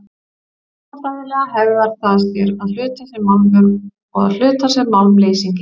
Efnafræðilega hegðar það sér að hluta sem málmur og að hluta sem málmleysingi.